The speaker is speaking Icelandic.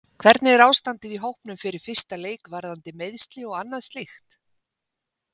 Hvernig er ástandið á hópnum fyrir fyrsta leik varðandi meiðsli og annað slíkt?